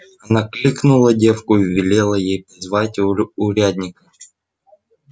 она кликнула девку и велела ей позвать урядника